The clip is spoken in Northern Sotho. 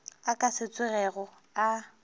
a ka se tsogego a